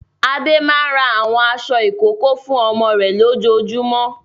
Adé máa ra àwọn aṣọ ìkókó fún ọmọ rẹ̀ lójoojúmọ́.